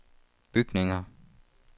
bygninger